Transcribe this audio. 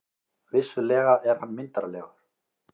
Vissulega er hann myndarlegur.